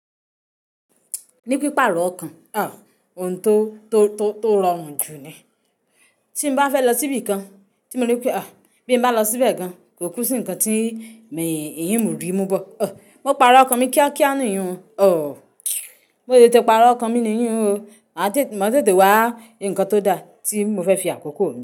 Ní pípa ọ̀rọ̀ ọkàn, òun tó rọrùn jù ni. Tí n bá fẹ́ lọ sí ibi kan, tí mo rí pé bí mo bá lọ síbẹ̀ gan, kò kú sí nǹkan tí n mi rí mú bọ̀. Mo parọ ọkàn mi kíákíá niyùn. Mo tete parọ́ ọkàn mi niyùn o, màá tètè wá nǹkan tó da tí mo fẹ́ fi àkókò mi.